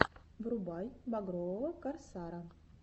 врубай багрового корсара